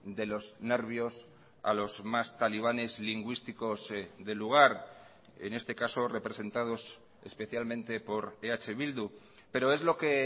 de los nervios a los más talibanes lingüísticos del lugar en este caso representados especialmente por eh bildu pero es lo que